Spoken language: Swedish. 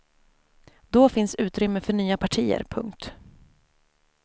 Då finns utrymme för nya partier. punkt